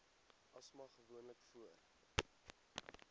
asma gewoonlik voor